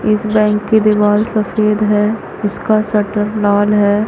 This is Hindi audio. इस बैंक की दीवाल सफ़ेद है। इसका शटर लाल है।